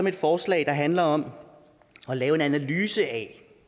et forslag der handler om at lave en analyse af